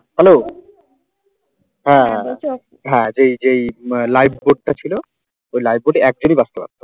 hello হ্যাঁ হ্যাঁ হ্যাঁ যেই যেই লাইক ভোটটা ছিল ওই লাইট বোর্ডে একজনই বাঁচতো